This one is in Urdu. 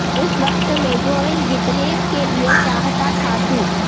اس وقت میگوئل جیتنے کے لئے چاہتا تھا تو